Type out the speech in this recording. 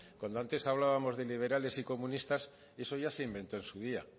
cuando antes hablábamos de liberales y de comunistas eso ya se inventó en su día